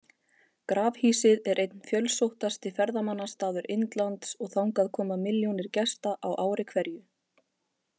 Grafhýsið er einn fjölsóttasti ferðamannastaður Indlands og þangað koma milljónir gesta á ári hverju.